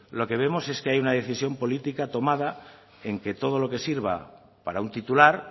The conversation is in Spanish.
lo que vemos es que hay una decisión política tomada en que todo lo que sirva para un titular